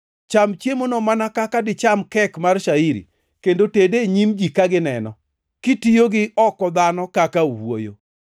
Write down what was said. Cham chiemono mana kaka dicham kek mar shairi, kendo tede e nyim ji ka gineni, kitiyo gi oko dhano kaka owuoyo.”